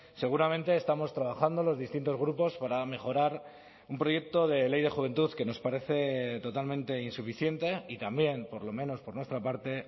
seguramente estamos trabajando los distintos grupos para mejorar un proyecto de ley de juventud que nos parece totalmente insuficiente y también por lo menos por nuestra parte